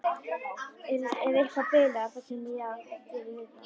Ef eitthvað bilar þá kem ég og geri við það.